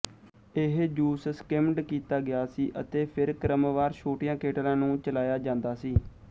ਇਹ juice skimmed ਕੀਤਾ ਗਿਆ ਸੀ ਅਤੇ ਫਿਰ ਕ੍ਰਮਵਾਰ ਛੋਟੀਆਂ ਕੇਟਲਾਂ ਨੂੰ ਚਲਾਇਆ ਜਾਂਦਾ ਸੀ